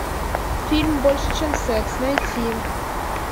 фильм больше чем секс найти